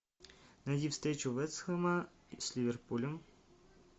найди встречу вест хэма с ливерпулем